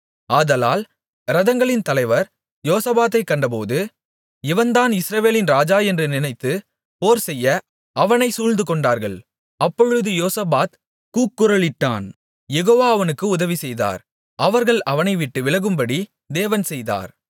ஆதலால் இரதங்களின் தலைவர் யோசபாத்தைக் கண்டபோது இவன் தான் இஸ்ரவேலின் ராஜா என்று நினைத்துப் போர்செய்ய அவனை சூழ்ந்துகொண்டார்கள் அப்பொழுது யோசபாத் கூக்குரலிட்டான் யெகோவா அவனுக்கு உதவி செய்தார் அவர்கள் அவனைவிட்டு விலகும்படி தேவன் செய்தார்